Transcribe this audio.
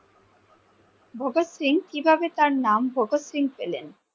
ভগৎ সিং কিভাবে তার নাম ভগৎ সিং পেলেন?